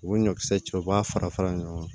U bɛ ɲɔkisɛ cɛ u b'a fara fara ɲɔgɔn kan